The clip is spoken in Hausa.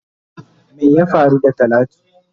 Wai ya faru da talatu?